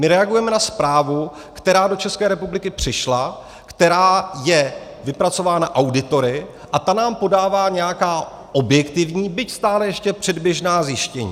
My reagujeme na zprávu, která do České republiky přišla, která je vypracována auditory, a ta nám podává nějaká objektivní, byť stále ještě předběžná zjištění.